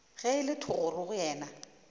ge e le thogorogo yena